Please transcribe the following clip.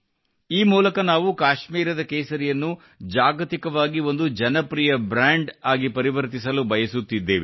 ಈ ಮೂಲಕ ನಾವು ಕಾಶ್ಮೀರದ ಕೇಸರಿಯನ್ನು ಜಾಗತಿಕವಾಗಿ ಒಂದು ಜನಪ್ರಿಯ ಬ್ರಾಂಡಾಗಿ ಪರಿವರ್ತಿಸಲು ಬಯಸುತ್ತಿದ್ದೇವೆ